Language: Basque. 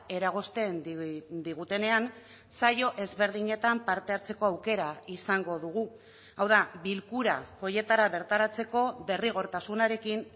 eragozten digutenean saio ezberdinetan parte hartzeko aukera izango dugu hau da bilkura horietara bertaratzeko derrigortasunarekin